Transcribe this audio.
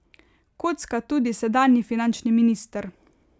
Kocka tudi sedanji finančni minister.